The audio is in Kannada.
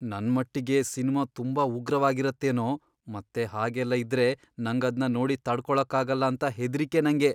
ನನ್ಮಟ್ಟಿಗೆ ಸಿನ್ಮಾ ತುಂಬಾ ಉಗ್ರವಾಗಿರತ್ತೇನೋ ಮತ್ತೆ ಹಾಗೆಲ್ಲ ಇದ್ರೆ ನಂಗದ್ನ ನೋಡಿ ತಡ್ಕೊಳಕ್ಕಾಗಲ್ಲ ಅಂತ ಹೆದ್ರಿಕೆ ನಂಗೆ.